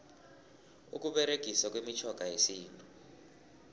ukuberegiswa kwemitjhoga yesintu